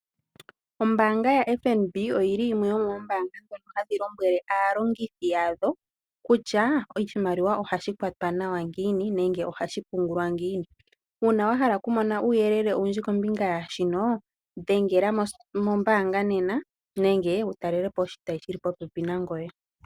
Ombaanga yaFNB oyi li yimwe yomoombaanga ndhono hadhi lombwele aalongithi yadho kutya oshimaliwa ohashi kwatwa nawa ngiini nenge ohashi pungulwa ngiini. Uuna wa hala okumona uuyelele owundji kombinga yaa shino dhengela mombaanga nena nenge wu talele po oshitayi shi li popepi nangoye.